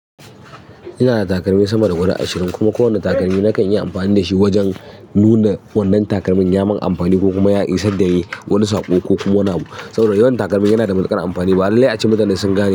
Ina da takalmi sama da guda ashirin kuma kowane takalmi na kan yi amfani da shi wajen nuna wannan takalmin ya mun amfani ko kuma ya isar dani wani saƙo ko kuma wani abu. Sabida, yawan takalmi yana da matuƙar amfani. Ba lalle aci mutane sun gane ba.